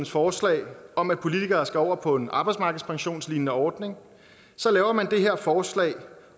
forslag om at politikere skal over på en arbejdsmarkedspensionslignende ordning så laver man det her forslag